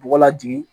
Bɔgɔ lajigin